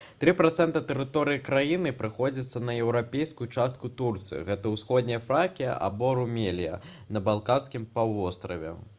3% тэрыторыі краіны прыходзіцца на еўрапейскую частку турцыі гэта усходняя фракія або румелія на балканскім паўвостраве